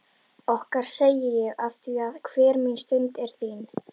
Okkar segi ég afþvíað hver mín stund er þín.